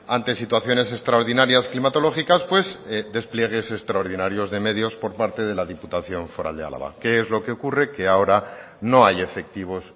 ante situaciones extraordinarias climatológicas pues despliegues extraordinarios de medios por parte de la diputación foral de álava qué es lo que ocurre que ahora no hay efectivos